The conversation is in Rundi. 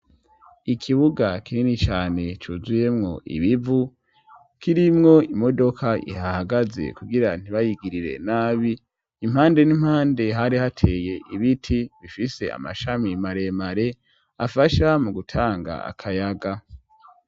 Ikibuga kinini cane cuzuyemwo ibivu kirimwo imodoka ihahagaze kugira ntibayigirire nabi impande n'impande hari hateye ibiti bifise amashami maremare afasha mu gutanga akayaga.